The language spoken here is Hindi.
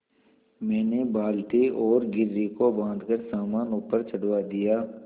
मैंने बाल्टी और घिर्री को बाँधकर सामान ऊपर चढ़वा दिया